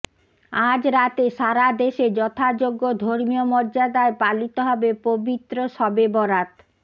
আজ রাতে সারাদেশে যথাযোগ্য ধর্মীয় মর্যাদায় পালিত হবে পবিত্র শবেবরাত